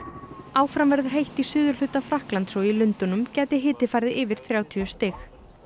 áfram verður heitt í suðurhluta Frakklands og í Lundúnum gæti hiti farið yfir þrjátíu stig